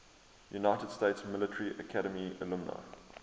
united states military academy alumni